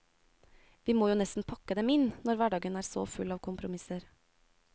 Vi må jo nesten pakke dem inn, når hverdagen er så full av kompromisser.